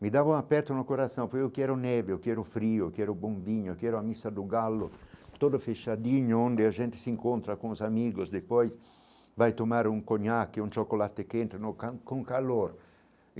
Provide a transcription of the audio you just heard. Me um dava aperto no coração, porque eu quero neve, eu quero o frio, quero o bombinho, quero a missa do galo, todo fechadinho, onde a gente se encontra com os amigos, depois vai tomar um conhaque, um chocolate quente, no ca com calor.